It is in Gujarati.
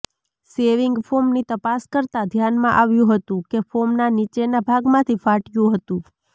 શેવિંગ ફોમની તપાસ કરતા ધ્યાનમાં આવ્યું હતું કે ફોમના નીચેના ભાગમાંથી ફાટ્યું હતું